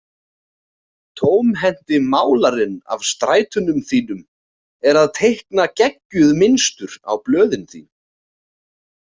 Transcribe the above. Tómhenti málarinn af strætunum þínum er að teikna geggjuð mynstur á blöðin þín.